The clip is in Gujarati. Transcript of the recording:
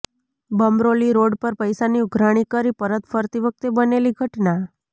બમરોલી રોડ પર પૈસાની ઉઘરાણી કરી પરત ફરતી વખતે બનેલી ઘટના